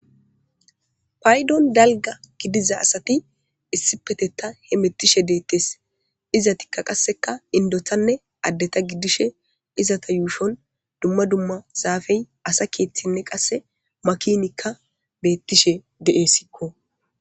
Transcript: paydon dalga gidiza asati issi petetta he mettishe deettes izatikka qasseka indotanne addeta giddishe izata yuufon dumma dumma zaafey asa keethtinne qasse makinikka beettishe de7essikko